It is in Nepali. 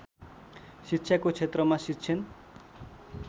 शिक्षाको क्षेत्रमा शिक्षण